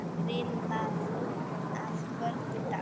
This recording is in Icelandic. Grillað að kvöldi dags.